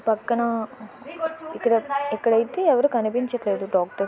పక్కన ఎక్కడైతే ఎవరు కనిపించట్లేదు డాక్టర్.